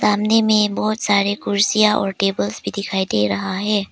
सामने में बहुत सारे कुर्सियां और टेबल्स भी दिखाई दे रहा है।